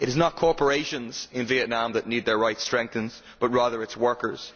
It is not corporations in Vietnam that need their rights strengthened, but rather it is workers.